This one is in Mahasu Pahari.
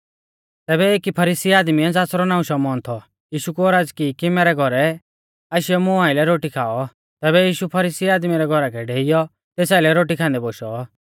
तैबै एकी फरीसी आदमीऐ ज़ासरौ नाऊं शमौन थौ यीशु कु औरज़ की कि मैरै घौरै आशीयौ मुं आइलै रोटी खाऔ तैबै यीशु फरीसी आदमी रै घौरा कै डेइयौ तेस आइलै रोटी खान्दै बोशौ